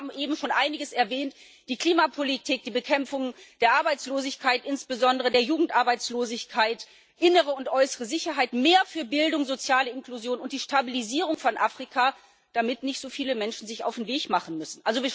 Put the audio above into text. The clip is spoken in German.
Die Kollegen haben eben schon einiges erwähnt die Klimapolitik, die Bekämpfung der Arbeitslosigkeit, insbesondere der Jugendarbeitslosigkeit, innere und äußere Sicherheit, mehr für Bildung, soziale Inklusion und die Stabilisierung von Afrika, damit sich nicht so viele Menschen auf den Weg machen müssen.